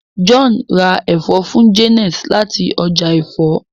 John rá èfó fún Janet láti ọjà èfó.